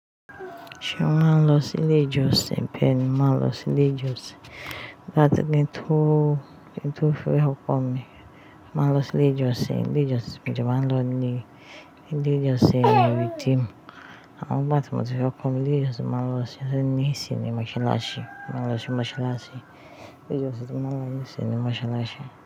Ṣé o ma n lọ sí ilé ìjọsìn? Bẹ́ẹ̀ni, mo ma nlọ sí ilé ìjọsìn. Láti mi tó, mi tó fi ọkọ̀ mi. Máa lọ sí ilé ìjọsìn. Ilé ìjọsìn mi jẹ́ máa ń lọ ní ilé ìjọsìn Awídún. Àwọn bátì mi fi ọkọ̀ mi lẹ́yìn tí mo bá lọ sí ní sinimá Sháláṣí. Máa lọ sí Sháláṣí. Ilé ìjọsìn tí mo máa lọ ní sinimá Sháláṣí.